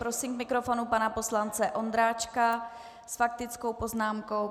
Prosím k mikrofonu pana poslance Ondráčka s faktickou poznámkou.